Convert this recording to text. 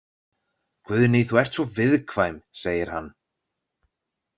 Guðný þú ert svo viðkvæm, segir hann.